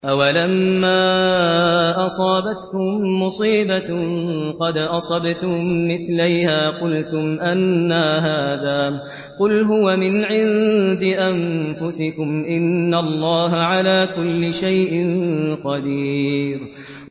أَوَلَمَّا أَصَابَتْكُم مُّصِيبَةٌ قَدْ أَصَبْتُم مِّثْلَيْهَا قُلْتُمْ أَنَّىٰ هَٰذَا ۖ قُلْ هُوَ مِنْ عِندِ أَنفُسِكُمْ ۗ إِنَّ اللَّهَ عَلَىٰ كُلِّ شَيْءٍ قَدِيرٌ